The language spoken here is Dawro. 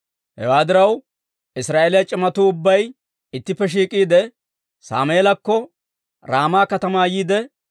Hewaa diraw, Israa'eeliyaa c'imatuu ubbay ittippe shiik'iide, Sammeelakko Raama katamaa yiide,